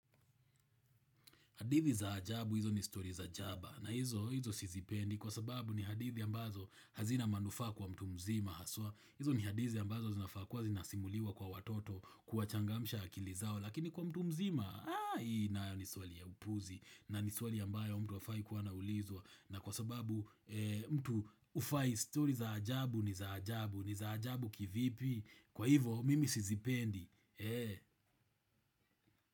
Hadithi za ajabu hizo ni story za jaba na hizo, hizo sizipendi kwa sababu ni hadithi ambazo hazina manufaa kwa mtu mzima haswa. Hizo ni hadithi ambazo zinafaa kuwa zinasimuliwa kwa watoto kuwachangamsha akili zao lakini kwa mtu mzima. Aah hii nayo ni swali ya upuzi na ni swali ambayo mtu hafai kuwa anaulizwa na kwa sababu mtu hufai story za ajabu ni za ajabu ni za ajabu kivipi kwa hivo mimi sizipendi.